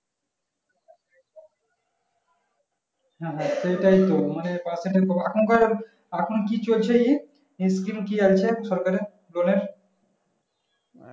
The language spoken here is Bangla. হ্যাঁ হ্যাঁ সেটাই তো মানে percentage কম এখন কার এখন কি চলছে ই skim কি আছে সরকার এর loan এর